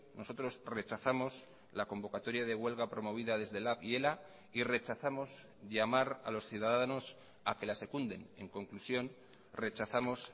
nosotros rechazamos la convocatoria de huelga promovida desde lab y ela y rechazamos llamar a los ciudadanos a que la secunden en conclusión rechazamos